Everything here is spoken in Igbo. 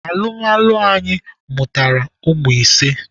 Alụmalụ anyị mụtara ụmụ ise.